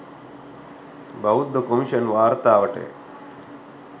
බෞද්ධ කොමිෂන් වාර්තාවටය